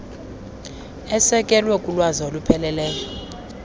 esekelwe kulwazi olupheleleyo